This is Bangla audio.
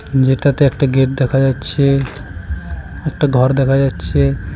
যেটাতে একটা গেট দেখা যাচ্ছে একটা ঘর দেখা যাচ্ছে।